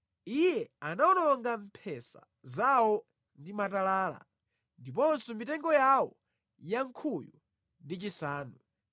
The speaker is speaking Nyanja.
Iye anawononga mphesa zawo ndi matalala ndiponso mitengo yawo yankhuyu ndi chisanu.